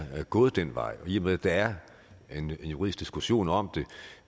gået den vej og i med at der er en juridisk diskussion om